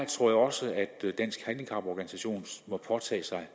tror jeg også at danske handicaporganisationer må påtage sig